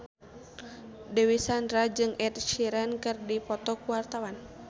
Dewi Sandra jeung Ed Sheeran keur dipoto ku wartawan